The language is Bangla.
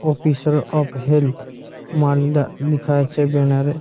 অফিসর অফ হেলথ মালদা লিখা আছে ব্যানার -এ।